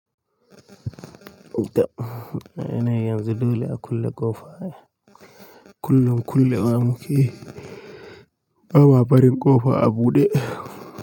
Da yana yin yanzu dole a kulle ƙofa. Kullun kulle wa muke ba ma barin ƙofa a buɗe.